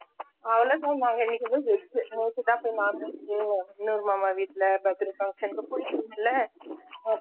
அவளோதான் நான் இன்னிக்கு veg நேத்து தான் போய் non veg இன்னொரு மாமா வீட்ல birthday function போயிருந்தோம்ல அப்போ